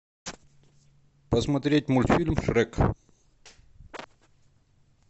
посмотреть мультфильм шрек